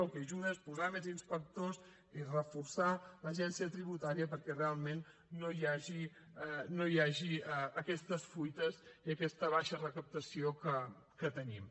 el que ajuda és posar més inspectors és reforçar l’agència tributària perquè realment no hi hagi aquestes fuites i aquesta baixa recaptació que tenim